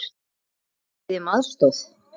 Biðja um aðstoð!